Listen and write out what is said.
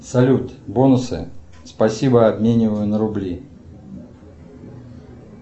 салют бонусы спасибо обмениваю на рубли